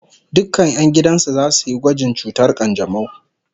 Dukkan 'yan gidan su zasu yi gwajin cutar kanjamau